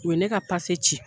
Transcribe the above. U ne ka pase ci.